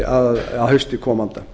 að hausti komanda